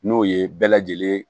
N'o ye bɛɛ lajɛlen ye